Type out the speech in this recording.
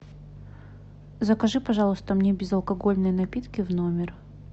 закажи пожалуйста мне безалкогольные напитки в номер